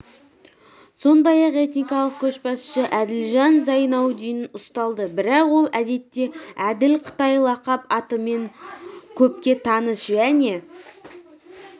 сондай-ақ этникалық көшбасшысы әділжан зайнаудин ұсталды бірақ ол әдетте әділ қытай лақап атымен көпке таныс және